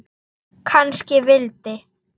Kannski vildi